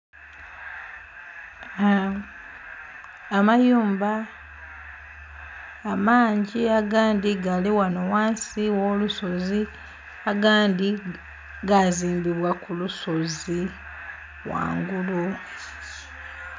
Aaa amayumba amangi agandi gali ghano ghansi gho lusozi agandi gazimbibwa kulusozi ghangulu.